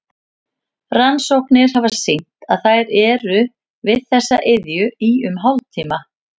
Rannsóknir hafa sýnt að þær eru við þessa iðju í um hálftíma.